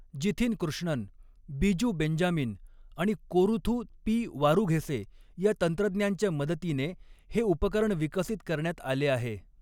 Jithin Krishnan, Biju Benjamin आणि Koruthu P Varughese या तंत्रज्ञांच्या मदतीने हे उपकरण विकसित करण्यात आले आहे.